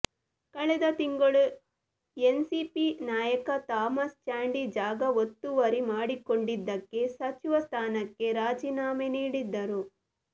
ಕಳೆದ ತಿಂಗಳು ಎನ್ಸಿಪಿ ನಾಯಕ ಥಾಮಸ್ ಚಾಂಡಿ ಜಾಗ ಒತ್ತುವರಿ ಮಾಡಿಕೊಂಡಿದ್ದಕ್ಕೆ ಸಚಿವ ಸ್ಥಾನಕ್ಕೆ ರಾಜೀನಾಮೆ ನೀಡಿದ್ದರು